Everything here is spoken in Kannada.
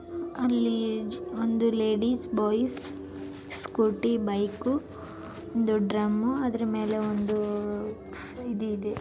ಅಲ್ಲಿ ಒಂದು ಲೇಡಿಸ್‌ ಬಾಯಿಸ್‌ ಸ್ಕೂಟಿ ಬೈಕ್ ಒಂದು ಡ್ರಮ್‌ ಅದ್ರ ಮೇಲೆ ಒಂದು ಇದು ಇದೆ.